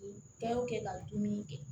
Bɛɛ y'o kɛ ka dumuni kɛ